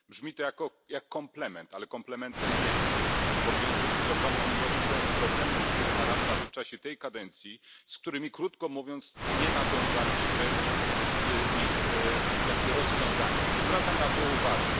Brzmi to jak komplement, ale komplementem nie jest, bo wiąże się z ogromną ilością problemów, które narastały w czasie tej kadencji, a my, krótko mówiąc, nie nadążaliśmy z ich rozwiązaniem. Zwracam na to uwagę.